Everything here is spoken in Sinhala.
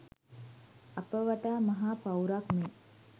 අප වටා මහ පවුරක් මෙන්